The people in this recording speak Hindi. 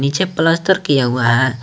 पीछे प्लास्टर किया हुआ है।